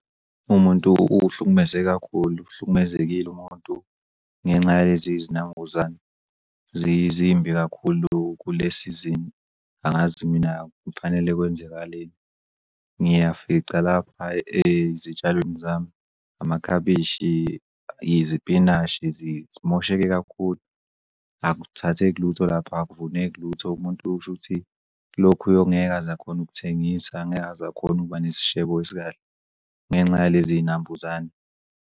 Umuntu uhlukumezeke kakhulu uhlukumezekile umuntu ngenxa yalezi zinambuzane zimbi kakhulu kule-season. Angazi mina kuthi kufanele kwenzakaleni. Ngiyafica lapha ezitshalweni zami amakhabishi, izipinashi zimosheke kakhulu. Akuthathike lutho lapha, akuvuneki lutho. Umuntu shuthi lokhu ngeke azakhone ukuthengisa, angeke azakhone ukuba nesishebo esikahle ngenxa yalezi y'nambuzane.